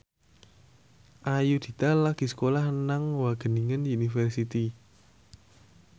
Ayudhita lagi sekolah nang Wageningen University